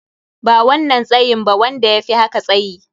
Ba wannan tsayin ba, wanda yafi haka tsayyi.